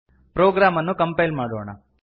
program ಅನ್ನು compile ಮಾಡೋಣ